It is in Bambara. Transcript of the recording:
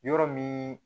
Yɔrɔ min